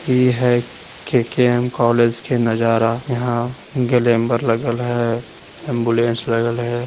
इ है KKM college के नजरा यहाँ ग्लेम्ब्र लगल है एम्बुलेंस लगल है।